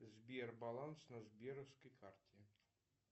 сбер баланс на сберовской карте